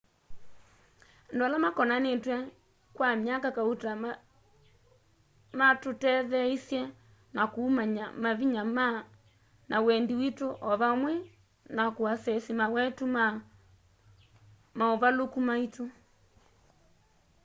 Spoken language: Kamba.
andu ala makonanitw'e kwa myaka kauta matutetheeisye na kumanya mavinya na wendi witu o vamwe na kuasesi mawetu na mauvaluku maitu